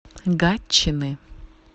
гатчины